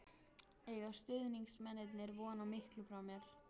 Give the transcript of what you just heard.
Eiga stuðningsmennirnir von á miklu frá mér?